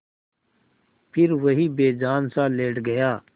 फिर वहीं बेजानसा लेट गया